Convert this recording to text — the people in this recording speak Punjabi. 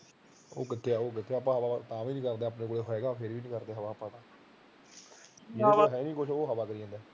ਸਾਡੇ ਕੋਲ ਸਭ ਕੁਝ ਹੈਗਾ ਆਪਾ ਫਿਰ ਵੀ ਨੀ ਕਰਦੇ ਹਵਾ ਜਿਹਦੇ ਕੋਲ ਹੈਨੀ ਕੁਝ ਉਹ ਹਵਾ ਕਰੀ ਜਾਂਦਾ